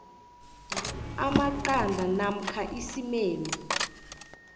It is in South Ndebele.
amaqanda namkha isimeni